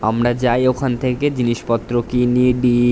আমরা যাই ঐখান থেকে জিনিস পত্র কিনি বি ।